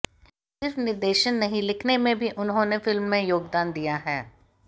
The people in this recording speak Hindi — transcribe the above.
सिर्फ निर्देशन नहीं लिखने में भी उन्होंने फिल्म में योगदान दिया है